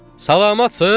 Salamatsız?